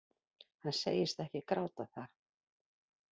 Hann segist ekki gráta það